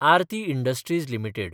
Aarti industries limited